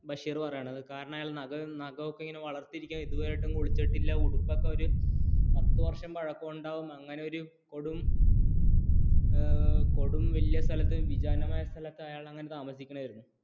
ബഷീർ പറഞ്ഞത് കാരണം അയാളുട നഖമൊക്കെ ഇങ്ങനെ വളർത്തിരികുന്നത് ഇതുവരെ യായിട്ടും കുളിച്ചിട്ടില്ല പതുവര്ഷം പഴകം ഉണ്ടാകും അങ്ങനെ ഒരു കൊടും വലിയ സ്ഥലത്ത് വിജനമായ സ്ഥലത്ത് താമസിക്കുകയായിരുന്നു അയാൾ